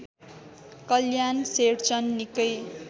कल्याण शेरचन निकै